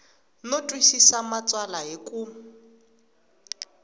no twisisa matsalwa hi ku